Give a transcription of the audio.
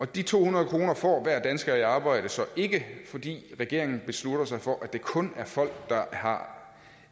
de to hundrede kroner får hver dansker i arbejde så ikke fordi regeringen beslutter sig for at det kun er folk der har